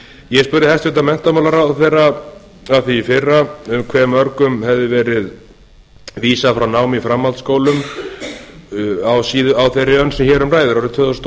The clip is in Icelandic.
ég spurði hæstvirtur menntamálaráðherra að því í fyrra hve mörgum hefði verið vísað frá námi í framhaldsskólum á þeirri önn sem hér um ræðir árið tvö þúsund og